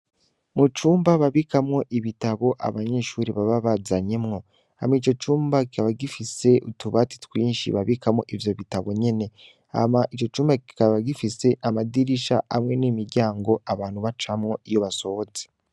Mu cumba babikamwo ibitabo abanyeshuri baba bazanyemwo, hama ico cumba kikaba gifise utubati twinshi babikamwo ivyo bitabo nyene, hama ico cumba kikaba gifise amadirisha hamwe n'imiryango abantu bacamwo iyo basohoze.